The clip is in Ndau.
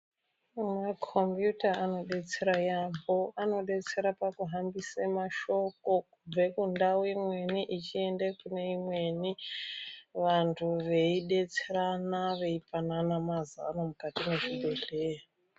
Makombiyuta anobetsera yaambo anobetsera pakuhambisa mashoko kubve kundau imweni echiende imweni. Vantu veibeterana veipanana mazano mukati mwezvibhedhleya.